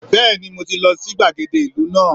Bẹ́ẹ̀ni mọ ti lọ sí gbàgede ìlú náà